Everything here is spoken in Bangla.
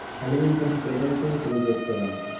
Halloween টা কোলকাতা তেও celebrate করে অনেকে।